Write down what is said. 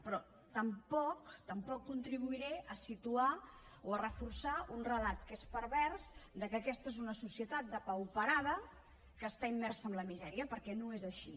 però tampoc contribuiré a situar o a reforçar un relat que és pervers de que aquesta és una societat depauperada que està immersa en la misèria perquè no és així